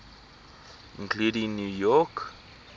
including new york